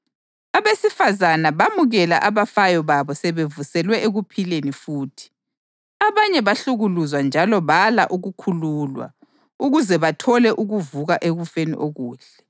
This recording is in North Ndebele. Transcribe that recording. Abesifazane bamukela abafayo babo sebevuselwe ekuphileni futhi. Abanye bahlukuluzwa njalo bala ukukhululwa, ukuze bathole ukuvuka ekufeni okuhle.